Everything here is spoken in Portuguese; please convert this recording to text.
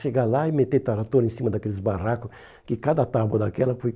Chegar lá e meter a torre em cima daqueles barracos, que cada tábua daquela